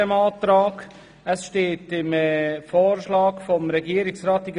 Im Vorschlag des Regierungsrats steht: